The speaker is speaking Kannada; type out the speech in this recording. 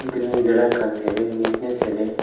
ಮತ್ ಇಲ್ ಗಿಡ ಕಾಣ್ತಿದೆ ನೀಟ್ನೆಸ್ ಇದೆ.